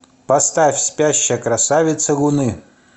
поставь спящая красавица луны